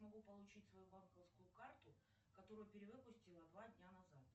могу получить свою банковскую карту которую перевыпустила два дня назад